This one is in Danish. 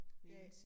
Ja